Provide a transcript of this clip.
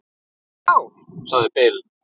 Skál, sagði Bill.